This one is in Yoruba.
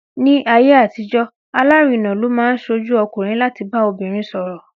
Ní ayé àtijọ́, alárinà ló máa ń ṣojú ọkùnrin láti bá obìnrin sọ̀rọ̀.